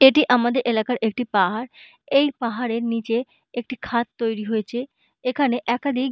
এটি আমাদের এলাকার একটি পাহাড় । এই পাহাড়ের নীচে একটি খাদ তৈরি হয়েছে এখানে একাধিক--